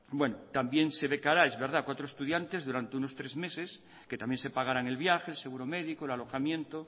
también se ve clara es verdad cuatro estudiantes durante unos tres meses que también se pagarán el viaje el seguro médico el alojamiento